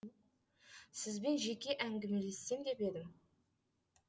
сізбен жеке әңгімелессем деп едім